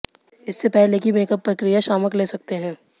इससे पहले कि मेकअप प्रक्रिया शामक ले सकते हैं